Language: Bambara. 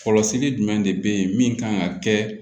Kɔlɔsili jumɛn de bɛ ye min kan ka kɛ